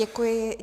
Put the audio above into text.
Děkuji.